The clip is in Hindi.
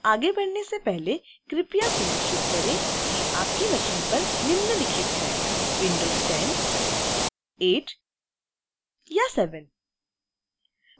आगे बढ़ने से पहले कृपया सुनिश्चित करें कि आपके machine पर निम्नलिखित है